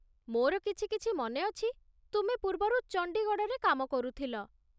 ମୋର କିଛିକିଛି ମନେ ଅଛି ତୁମେ ପୂର୍ବରୁ ଚଣ୍ଡିଗଡ଼ରେ କାମ କରୁଥିଲ